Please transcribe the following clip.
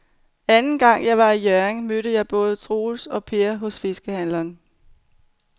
Anden gang jeg var i Hjørring, mødte jeg både Troels og Per hos fiskehandlerne.